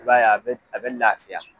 I b'a ye a bɛ a bɛ lafiya.